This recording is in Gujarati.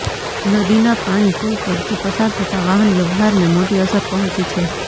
નદીના પાણી પુલ પરથી પસાર થતા વાહન વ્યહવારને મોટી અસર પહોંચી છે